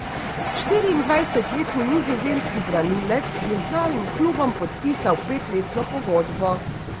Štiriindvajsetletni nizozemski branilec je z novim klubom podpisal petletno pogodbo.